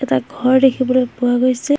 এটা ঘৰ দেখিবলৈ পোৱা গৈছে।